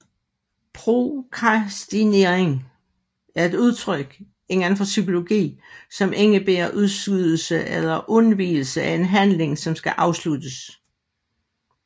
Prokrastinering er et udtryk inden for psykologi som indebærer udskydelse eller undvigelse af en handling som skal afsluttes